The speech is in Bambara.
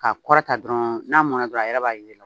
Ka kɔrɔta dɔrɔn n'a mɔnna dɔrɔn a yɛrɛ b'a ye